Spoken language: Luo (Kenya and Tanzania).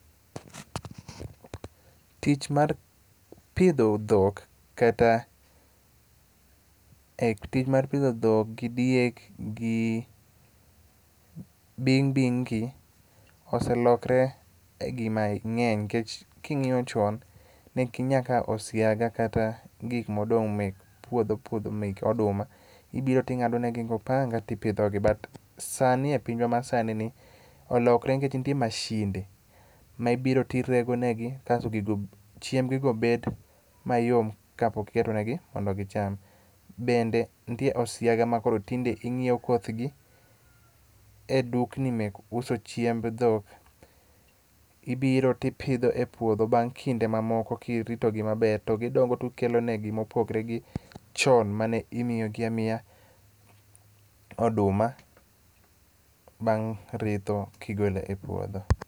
Tich mar pidho dhok kata tich mar pidho dhok gi diek gi bing' bing' gi oselokre e gimang'eny nikech king'iyo chon, ne ginyakawo osiaga kata gik modong' mek puodho puodho mek oduma. Ibiro ting'adonegi go panga tipidhogi, but sani e pinywa masanini olokre nikech nitie mashinde ma ibiro tiregonegi, kasto chiembgigo bet mayom kapok iketo negi mondo gicham. Bende nitiere osiaga matinde ing'iewo kothgi e dukni mek uso chiemb dhok, ibiro tipidho e puodho, bang' kinde mamoko kiritogi maber to gidongo to okolenogi mopogre gi chon mane imiyogi amiya oduma bang' kigole e puodho.